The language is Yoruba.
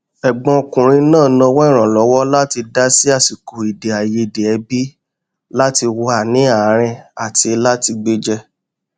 ẹgbọn ọkùnrin náà nawọ ìrànlọwọ láti dá sí àsìkò èdè àìyedè ẹbí láti wà ní àárín àti láti gbéjẹ